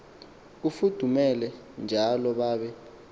kufudumele njalo babe